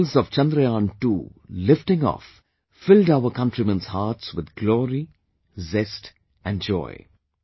Visuals of Chandrayaan II lifting off filled our countrymen's hearts with glory, zest and joy